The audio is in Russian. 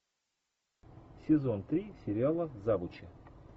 сезон три сериала завучи